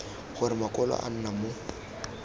gore makwalo a nna mo